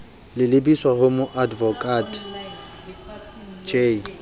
le lebiswa ho moadvokate j